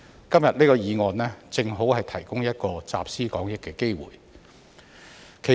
今天這項議案，正好提供一個集思廣益的機會。